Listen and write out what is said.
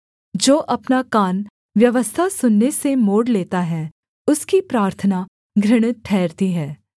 जो अपना कान व्यवस्था सुनने से मोड़ लेता है उसकी प्रार्थना घृणित ठहरती है